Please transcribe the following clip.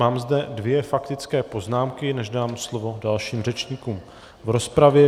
Mám zde dvě faktické poznámky, než dám slovo dalším řečníkům v rozpravě.